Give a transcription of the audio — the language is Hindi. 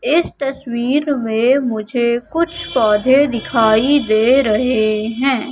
इस तस्वीर में मुझे कुछ पौधे दिखाई दे रहे हैं।